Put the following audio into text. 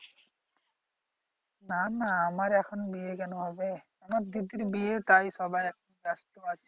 না না আমার এখন বিয়ে কেন হবে আমার দিদির বিয়ে তাই সবাই এখন ব্যাস্ত আছে